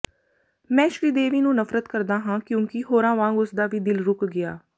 ਮੈਂ ਸ਼੍ਰੀਦੇਵੀ ਨੂੰ ਨਫਰਤ ਕਰਦਾ ਹਾਂ ਕਿਉਂਕਿ ਹੋਰਾਂ ਵਾਂਗ ਉਸ ਦਾ ਵੀ ਦਿਲ ਰੁੱਕ ਗਿਆ